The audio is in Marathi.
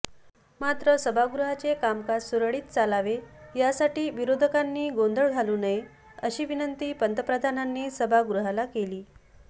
मात्र सभागृहाचे कामकाज सुरळीत चालावे यासाठी विरोधकांनी गोंधळ घालू नये अशी विनंती पंतप्रधानांनी सभागृहाला केली